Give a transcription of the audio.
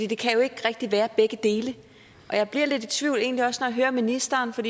det kan jo ikke rigtig være begge dele og jeg bliver lidt i tvivl og egentlig også når jeg hører ministeren for